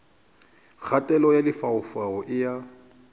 kgatelelo ya lefaufau e a